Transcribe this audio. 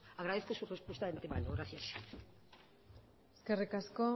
agradezco su respuesta de ante mano gracias eskerrik asko